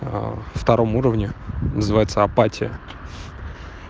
втором уровне называется апатия